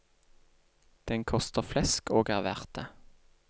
Den koster flesk og er verd det.